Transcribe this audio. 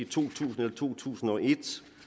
tusind eller i to tusind og et i